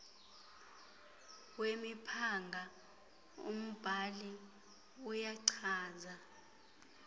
wemiphanga umbhali uyachaza